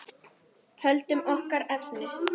Höldum okkur við efnið.